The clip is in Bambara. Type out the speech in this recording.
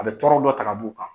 A bɛ tɔɔrrɔ dɔ taga b' u kan